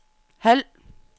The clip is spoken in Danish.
halv